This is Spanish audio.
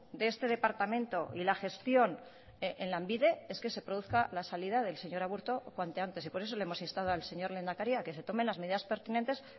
de este departamento y la gestión en lanbide es que se produzca la salida del señor aburto cuanto antes por eso le hemos instado al señor lehendakari a que se tome las medidas pertinentes